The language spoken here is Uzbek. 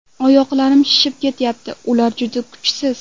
Oyoqlarim shishib ketyapti, ular juda kuchsiz.